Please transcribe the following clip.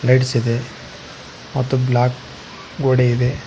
Lights ಇದೆ ಮತ್ತು black ಗೋಡೆ ಇದೆ.